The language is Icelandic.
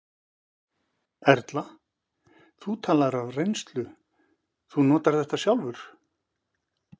Erla: Þú talar af reynslu, þú notar þetta sjálfur?